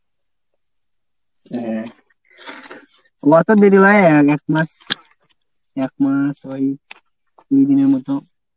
হ্যাঁ। অত দেরি এক মাস একমাস হয়নি ওই কুড়ি দিনের মত।